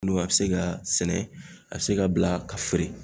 Nu a bɛ se ka sɛnɛ, a bɛ se ka bila ka feere.